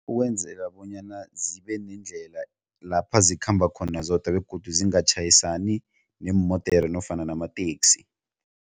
Ukwenzela bonyana zibe nendlela lapha zikhamba khona zodwa begodu zingatjhayisani neemodere nofana namateksi.